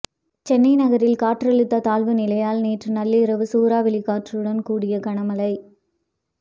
சென்னை நகரில் காற்றழுத்த தாழ்வு நிலையால் நேற்று நள்ளிரவு சூறாவளி காற்றுடன் கூடிய கனமழை